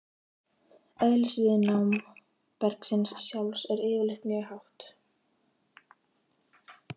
Eðlisviðnám bergsins sjálfs er yfirleitt mjög hátt.